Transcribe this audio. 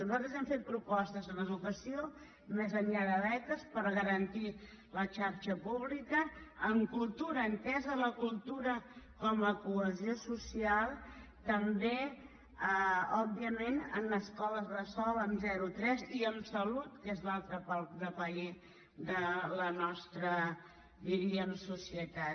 nosaltres hem fet propostes en educació més enllà de beques per garantir la xarxa pública en cultura entesa la cultura com a cohesió social també òbviament en escoles bressol de zero a tres i en salut que és l’altre pal de paller de la nostra diríem societat